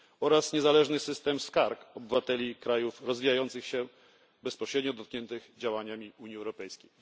oraz niezależnego systemu skarg obywateli krajów rozwijających się bezpośrednio dotkniętych działaniami Unii Europejskiej.